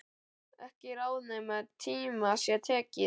Ekki ráð nema í tíma sé tekið.